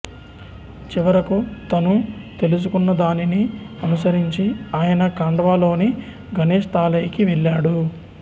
చివరకు తను తెలుసుకున్నదానిని అనుసరించి ఆయన ఖాండ్వాలోని గణేశ్ తాలైకి వెళ్ళాడు